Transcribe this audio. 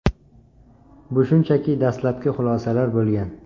Bu shunchaki dastlabki xulosalar bo‘lgan.